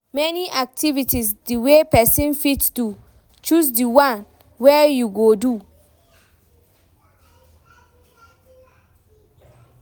Many activities de wey persin fit do, choose di one wey you go do